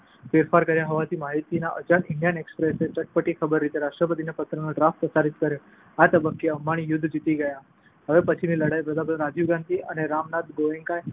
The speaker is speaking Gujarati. ફેરફાર કર્યા હોવાની માહિતીથી અજાણ ઈન્ડિયન એક્સપ્રેસે ચટપટી ખબર તરીકે રાષ્ટ્રપતિના પત્રનો ડ્રાફ્ટ પ્રસારિત કર્યો. આ તબક્કે અંબાણી યુદ્ધ જીતી ગયા. હવે પછીની લડાઈ વડાપ્રધાન રાજીવ ગાંધી અને રામનાથ ગોએન્કા